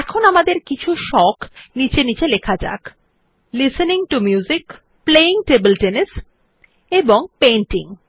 এখন আমাদের কিছু সোখ নীচে নীচে লেখা যাক listening to music playing table tennis এবং পেইন্টিং